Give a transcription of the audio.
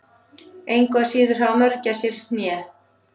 Engu að síður hafa mörgæsir hné.